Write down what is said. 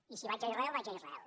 i si vaig a israel vaig a israel